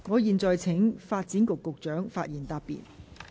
我現在請發展局局長發言答辯。